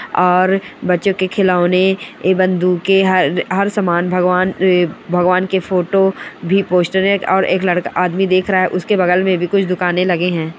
और बच्चों के खिलौने ए बंदूके हर हर सामान भगवान ए भगवान के फोटो भी पोस्टर एक और एक लड़का आदमी देख रहा है उसके बगल में भी कुछ दुकाने लगे हैं।